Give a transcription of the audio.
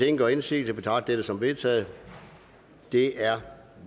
ingen gør indsigelse betragter jeg det som vedtaget det er